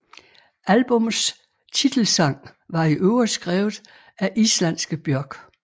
Albummets titelsang var i øvrigt skrevet af islandske Björk